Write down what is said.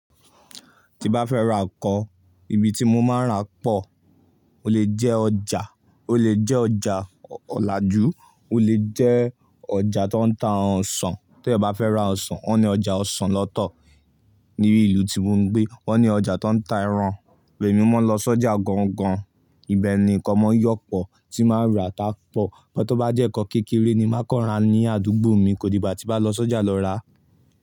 Tí bá fẹ́ ra nǹkan, ibi tí mo máa ń ra pọ̀, ó lè jẹ́ ọjà, ó lè jẹ́ ọjà ọ̀làjú, ó lè jẹ́ ọjà tó ń ta àwọn ọsàn. To bá fẹ́ ra ọsàn, wọ́n ní ọjà ọsàn lọ́tọ̀ ní ìlú tí mo ń gbé. Wọ́n ní ọjà tó ń ta ẹran, èmi máa ń lọ sọ́jà gángan, ibẹ̀ ni nǹkan mọ́ yọ́pọ̀ tí máa ń rà tá pọ̀. Ó tó bá jẹ́ nǹkan kékeré ni máa kọ́ra ní àdúgbò mi, kò di ìgbà tí bá lọ sọ́jà lọ rà.